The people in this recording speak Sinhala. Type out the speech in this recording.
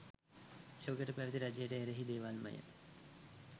එවකට පැවැති රජයට එරෙහි දේවල්මය.